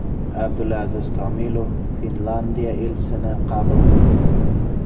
Abdulaziz Komilov Finlandiya elchisini qabul qildi.